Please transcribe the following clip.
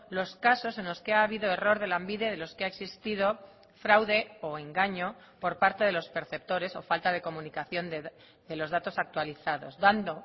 los casos en los que ha habido error de lanbide de los que ha existido fraude o engaño por parte de los perceptores o falta de comunicación de los datos actualizados dando